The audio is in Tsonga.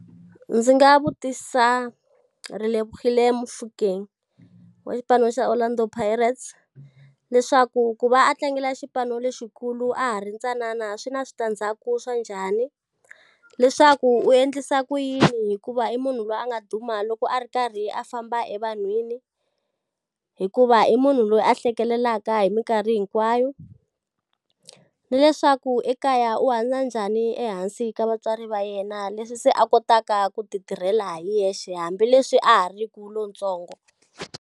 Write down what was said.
Ndzi nga vutisa Relebohile Mofokeng wa xipano xa Orlando Pirates, leswaku ku va a tlangela xipano lexikulu a ha ri ntsanana swi na switandzhaku swa njhani? Leswaku u endlisa ku yini hikuva i munhu loyi a nga duma loko a ri karhi a famba evanhwini hikuva i munhu loyi a hlekelelaka hi minkarhi hinkwayo. Ni leswaku ekaya u hanya njhani ehansi ka vatswari va yena leswi se a kotaka ku ti tirhela hi yexe hambileswi a ha ri ku lontsongo?